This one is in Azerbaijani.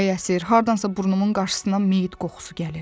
Külək əsir, hardansa burnumun qarşısından meyit qoxusu gəlir.